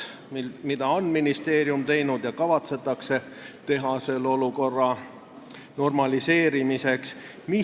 Mida on ministeerium teinud ja mida kavatsetakse teha selle olukorra normaliseerimiseks?